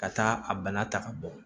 Ka taa a bana ta ka bɔ